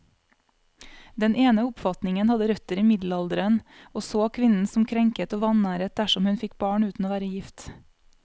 Den ene oppfatningen hadde røtter i middelalderen, og så kvinnen som krenket og vanæret dersom hun fikk barn uten å være gift.